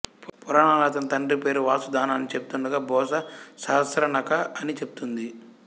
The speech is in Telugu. పురాణాలు అతని తండ్రి పేరు వాసుదానా అని చెబుతుండగా భోసా సహస్రానక అని చెబుతుంది